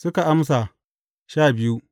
Suka amsa, Sha biyu.